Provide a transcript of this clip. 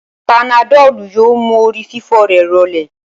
Panadọ́lù yóò mú orí fífọ́ rẹ̀ rọlẹ̀